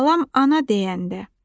Balam ana deyəndə.